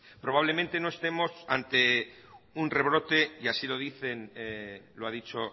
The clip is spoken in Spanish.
probablemente no estemos ante un rebrote y así lo dicen lo ha dicho